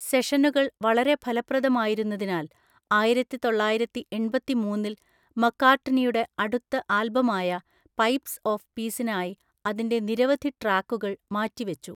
സെഷനുകൾ വളരെ ഫലപ്രദമായിരുന്നതിനാൽ ആയിരത്തിതൊള്ളായിരത്തിഎണ്‍പത്തിമൂന്നില്‍ മക്കാർട്ട്നിയുടെ അടുത്ത ആൽബമായ പൈപ്സ് ഓഫ് പീസിനായി അതിന്റെ നിരവധി ട്രാക്കുകൾ മാറ്റിവെച്ചു.